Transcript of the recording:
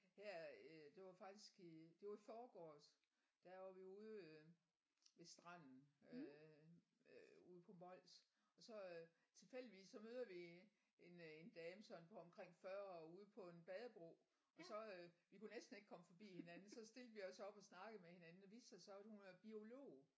Her øh det var faktisk i det var i forgårs der var vi ude øh ved stranden øh øh ude på Mols og så øh tilfældigvis så møder vi en øh en dame sådan på omkring 40 ude på en badebro og så øh vi kunne næsten ikke komme fordi hinanden så stilte vi os op og snakkede med hinanden og det viste sig så at hun var biolog